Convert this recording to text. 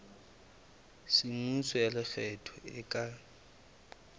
semmuso ya lekgetho e ka